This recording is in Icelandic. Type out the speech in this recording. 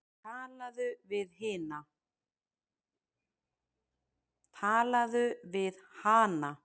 Talaðu við hana.